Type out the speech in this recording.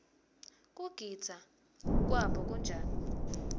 kugidza kwabo kunjani